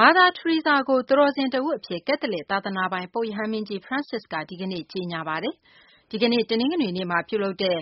မာသာ ထရီဆာကို သူတော်စင်တဦးအဖြစ် ကက်သလစ် သာသနာပိုင် ပုပ်ရဟန်းမင်းကြီး ဖရန့်စစ်က ဒီကနေ့ ကြေညာလိုက်ပါတယ်။ ဒီကနေ့ တနင်္ဂနွေနေ့မှာပြုလုပ်တဲ့